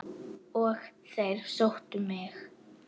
Og þeir sóttu mig.